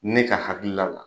Ne ka hakilila la.